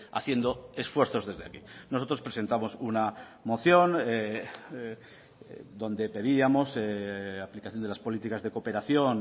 haciendo esfuerzos desde aquí nosotros presentamos una moción donde pedíamos aplicación de las políticas de cooperación